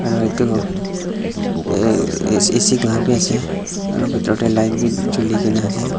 aru edu ac la bi ase aro bitor tae light bi chulikaena ase.